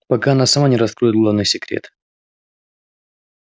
пока она сама не раскроет главный секрет